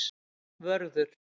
Vörður